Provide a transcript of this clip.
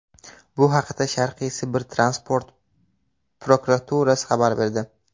Bu haqda Sharqiy Sibir transport prokuraturasi xabar berdi .